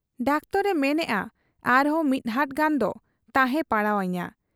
Doctor ᱮ ᱢᱮᱱᱮᱜ ᱟ ᱟᱨᱦᱚᱸ ᱢᱤᱫᱦᱟᱴ ᱜᱟᱱ ᱫᱚ ᱛᱟᱦᱮᱸ ᱯᱟᱲᱟᱣ ᱟᱹᱧᱟ ᱾'